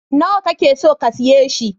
Nawa ka ke so ka siya shi?